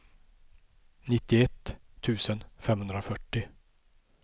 nittioett tusen femhundrafyrtio